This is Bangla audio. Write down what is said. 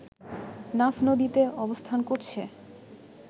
নাফ নদীতে অবস্থান করছে